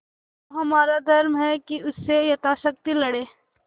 तो हमारा धर्म है कि उससे यथाशक्ति लड़ें